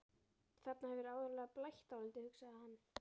Þarna hefur áreiðanlega blætt dálítið, hugsaði hann.